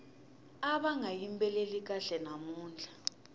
ava nga yimbeleli kahle namuntlha